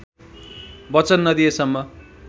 वचन नदिएसम्म